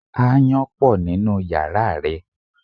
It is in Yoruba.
Ááyán pọ̀ nínú yàrá rẹ.